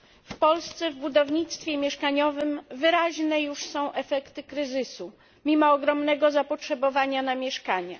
W Polsce, w budownictwie mieszkaniowym, wyraźne już są efekty kryzysu, mimo ogromnego zapotrzebowania na mieszkania.